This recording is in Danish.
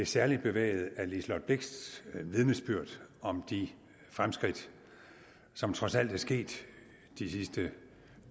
særligt bevæget af fru liselott blixts vidnesbyrd om de fremskridt som trods alt er sket de sidste